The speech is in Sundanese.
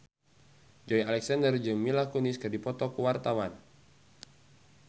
Joey Alexander jeung Mila Kunis keur dipoto ku wartawan